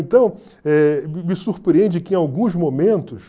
Então, eh me me surpreende que em alguns momentos...